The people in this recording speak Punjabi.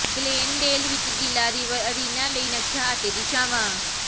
ਗਲੇਨਡੇਲ ਵਿਚ ਗੀਲਾ ਰਿਵਰ ਅਰੀਨਾ ਲਈ ਨਕਸ਼ਾ ਅਤੇ ਦਿਸ਼ਾਵਾਂ